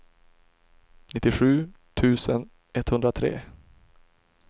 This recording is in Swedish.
nittiosju tusen etthundratre